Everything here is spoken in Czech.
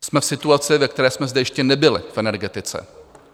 Jsme v situaci, ve které jsme zde ještě nebyli v energetice.